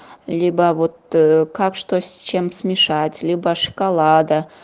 либо вот как что с чем смешать либо шоколада